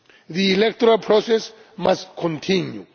The electoral process must continue.